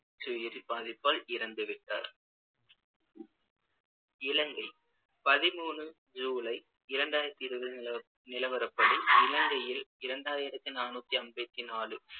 நச்சுயிரி பாதிப்பால் இறந்துவிட்டார் இலங்கை பதிமூணு ஜூலை இரண்டாயிரத்தி இருபது நிலவரப்படி இலங்கையில் இரண்டாயிரத்தி நாநூத்தி அம்பத்து நாலு